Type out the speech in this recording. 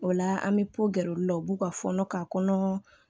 O la an bɛ bɔ gɛr'u la u b'u ka fɔnɔ ka kɔnɔ